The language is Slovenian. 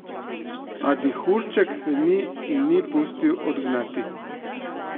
A dihurček se ni in ni pustil odgnati.